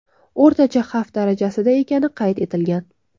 O‘rtacha xavf darajasida ekani qayd etilgan.